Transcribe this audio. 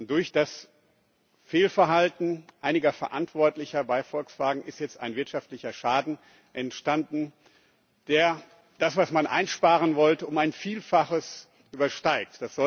Durch das Fehlverhalten einiger Verantwortlicher bei Volkswagen ist jetzt ein wirtschaftlicher Schaden entstanden, der das, was man einsparen wollte, um ein Vielfaches übersteigt.